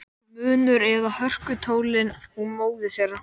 Munur eða hörkutólið hún móðir þeirra.